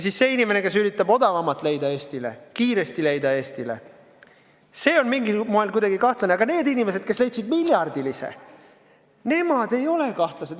Ja see inimene, kes üritab leida Eestile kiiremat ja odavamat lahendust, on mingil moel kuidagi kahtlane, aga need inimesed, kes leidsid miljardilise lahenduse, ei ole kahtlased.